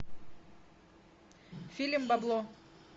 фильм бабло